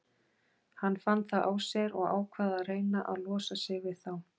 Hann fann það á sér og ákvað að reyna að losa sig við þá.